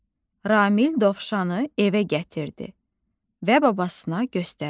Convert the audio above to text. Ramil dovşanı evə gətirdi və babasına göstərdi.